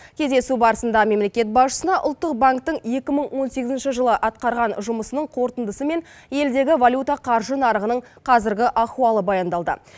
кездесу барысында мемлекет басшысына ұлттық банктің екі мың он сегізінші жылы атқарған жұмысының қорытындысы мен елдегі валюта қаржы нарығының қазіргі ахуалы баяндалды